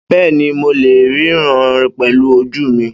Bẹ́ẹ́ni, mo lè ríran pẹ̀lú ojú mi.